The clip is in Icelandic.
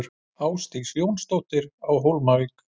Ásdís Jónsdóttir á Hólmavík